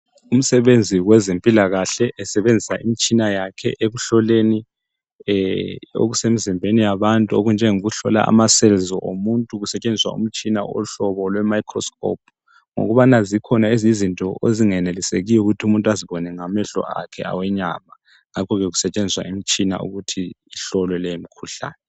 Umsebenzi wezempilakahle esebenzisa imitshina yakhe ekuhloleni okusemzimbeni yabantu okunjengo kuhlola ama cells omuntu kusetshenziswa umtshina ohlobo lwe microscope ngokubana zikhona ezinye izinto ezingenelisekiyo ukuthi umuntu azibone ngamehlo akhe awenyama ngakhoke kusetshenziswa imitshina ukuthi kuhlolwe lemikhuhlane.